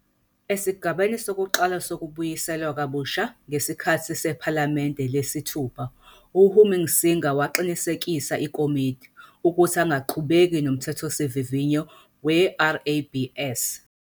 Esigabeni sokuqala sokubuyiselwa kabusha ngesikhathi sePhalamende lesi-6 "uHunsinger waqinisekisa iKomidi" ukuthi angaqhubeki noMthethosivivinywa weRABS.